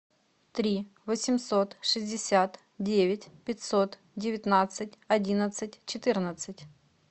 три восемьсот шестьдесят девять пятьсот девятнадцать одиннадцать четырнадцать